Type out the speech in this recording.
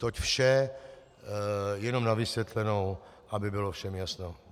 Toť vše jenom na vysvětlenou, aby bylo všem jasno.